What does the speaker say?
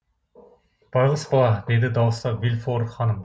байғұс бала деді дауыстап де вильфор ханым